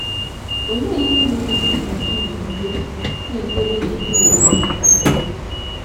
Olee ihe mere ị ka ji nọgide na - ekwere na e nwere Onye Okike?